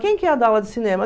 Quem que ia dar aula de cinema?